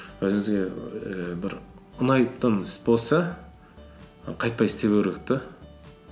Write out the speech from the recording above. өзіңізге ііі бір ұнайтын іс болса қайтпай істей беру керек те